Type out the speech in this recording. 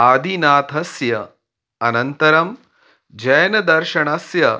आदिनाथस्य अनन्तरं जैनदर्शनस्य